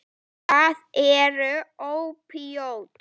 Hvað eru ópíöt?